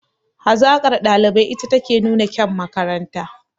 Hazaƙar ɗalibai ita take nuna kyan makaranta